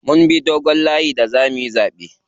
Mun bi dogon layi da zamuyi zaɓe.